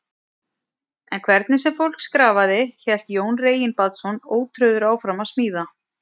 En hvernig sem fólk skrafaði, hélt Jón Reginbaldsson ótrauður áfram að smíða.